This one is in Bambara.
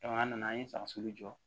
Jamana nana an ye saga sugu jɔ